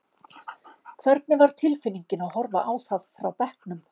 Hvernig var tilfinningin að horfa á það frá bekknum?